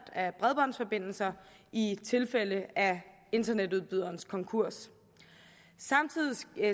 af bredbåndsforbindelser i tilfælde af internetudbyderens konkurs